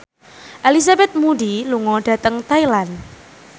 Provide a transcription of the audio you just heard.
Elizabeth Moody lunga dhateng Thailand